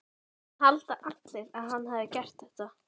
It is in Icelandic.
Það halda allir að hann hafi gert þetta.